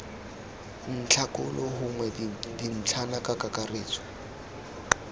ntlhakgolo gongwe dintlhana ka kakaretso